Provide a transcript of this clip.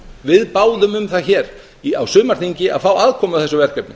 við báðum um það hér á sumarþingi að fá aðkomu að þessu verkefni